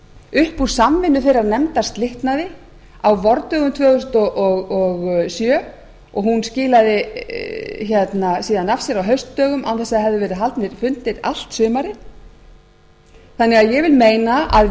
upp úr samvinnu þeirrar nefndar slitnaði á vordögum tvö þúsund og sjö og hún skilaði síðan af sér á haustdögum án þess að það hefðu verið haldnir fundir allt sumarið þannig að ég vil meina að